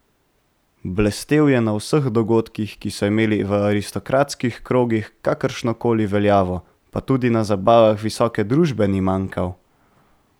Blestel je na vseh dogodkih, ki so imeli v aristokratskih krogih kakršnokoli veljavo, pa tudi na zabavah visoke družbe ni manjkal.